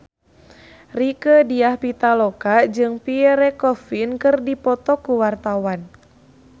Rieke Diah Pitaloka jeung Pierre Coffin keur dipoto ku wartawan